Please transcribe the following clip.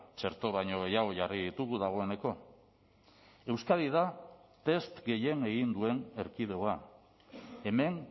txerto baino gehiago jarri ditugu dagoeneko euskadi da test gehien egin duen erkidegoa hemen